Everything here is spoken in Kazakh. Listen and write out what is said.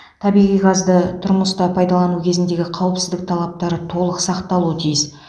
табиғи газды тұрмыста пайдалану кезіндегі қауіпсіздік талаптары толық сақталуы тиіс